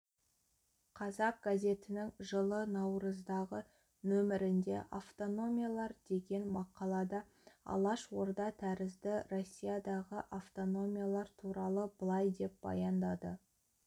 қазақ газетінің жылы наурыздағы нөмірінде автономиялар деген мақалада алаш орда тәрізді россиядағы автономиялар туралы былай деп баяндады